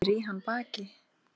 Snýr í hann baki.